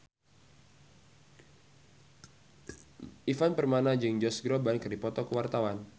Ivan Permana jeung Josh Groban keur dipoto ku wartawan